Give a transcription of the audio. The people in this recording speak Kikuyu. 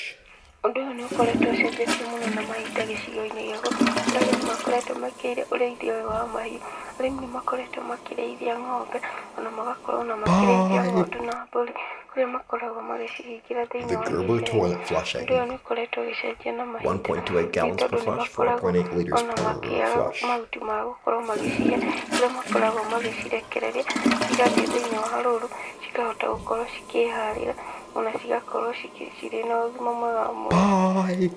Ũndũ ũyũ nĩ ũkoretwo ũcenjetie mũno na mahinda gĩcigo-inĩ gĩakwa, kũrĩa arĩmi nĩ makoretwo mekĩrĩire ũrĩithia ũyũ wa mahiũ, arĩmi nĩ makoretwo makĩrĩithia ng'ombe, ona magakorwo makĩrĩithia ng'ondu ona mbũri, kũrĩa makoragwo magĩcihingĩra thĩinĩ wa gĩceegũ. Ũndũ ũyũ nĩ ũkoretwo ũgĩcenjia na mahinda, nĩ tondũ nĩ makoragwo ona makĩaga mahuti magũkorwo magĩcihe, kũrĩa makoragwo magĩcirekereria cigathiĩ thĩinĩ wa rũru, cikahota gũkorwo cikĩharĩra, ona cigakorwo cirĩ na ũgima mwega wa mwĩrĩ.